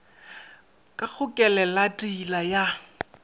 ka go kelelat hila ya